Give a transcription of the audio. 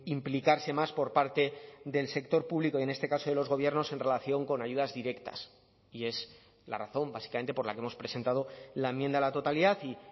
implicarse más por parte del sector público y en este caso de los gobiernos en relación con ayudas directas y es la razón básicamente por la que hemos presentado la enmienda a la totalidad y